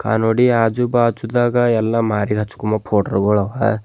ಕನೋಡಿ ಆಜು ಬಾಜು ದಾಗ ಎಲ್ಲಾ ಮಾರಿ ಹಚ್ಕೋಮ ಪೋಡ ರ್ ಗೋಳು ಅವ.